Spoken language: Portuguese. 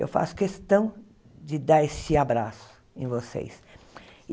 Eu faço questão de dar esse abraço em vocês.